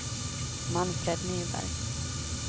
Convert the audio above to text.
Manfred Nyberg